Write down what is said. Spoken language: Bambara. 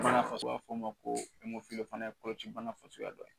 f'ɔ ma ko o fana ye kɔlɔci bana fasuguya dɔ ye